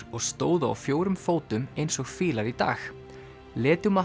og stóðu á fjórum fótum eins og fílar í dag